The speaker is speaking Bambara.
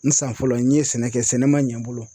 N san fɔlɔ, n ye sɛnɛ kɛ sɛnɛ ma ɲɛ n bolo.